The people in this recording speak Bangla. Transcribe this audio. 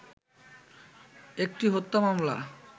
একটি হত্যা মামলা